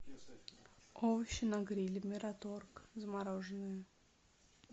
овощи на гриле мираторг замороженные